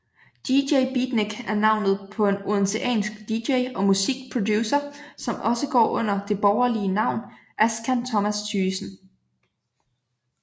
DJ Beatnik er navnet på en odenseansk DJ og musikproducer som også går under det borgerlige navn Askan Thomas Thygesen